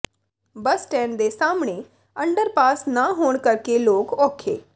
ਬੱਸ stand ਦੇ ਸਾਹਮਣੇ underpass ਨਾ ਹੋਣ ਕਰਕੇ ਲੋਕ ਔਖੇ